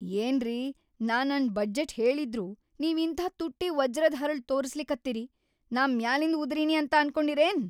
ಏನ್ರಿ ನಾ ನನ್‌ ಬಜೆಟ್‌ ಹೇಳಿದ್ರೂ ನೀವ್‌ ಇಂಥಾ ತುಟ್ಟಿ ವಜ್ರದ್‌ ಹರಳ್‌ ತೋರಸ್ಲಕತ್ತಿರಿ, ನಾ ಮ್ಯಾಲಿಂದ್‌ ಉದರಿನಿ ಅಂತ ಅನ್ಕೊಂಡಿರೇನ್?